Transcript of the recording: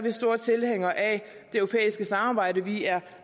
er store tilhængere af det europæiske samarbejde vi er